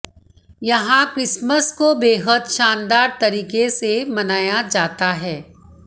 यहां क्रिसमस को बेहद शानदार तरीके से मनाया जाता है